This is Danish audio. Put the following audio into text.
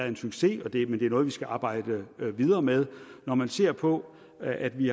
en succes men det er noget vi skal arbejde videre med når man ser på at vi